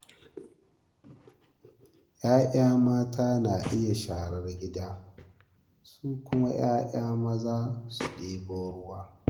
‘Ya'ya mata na iya yin sharar gida, su kuma 'ya'ya maza su ɗebo ruwa.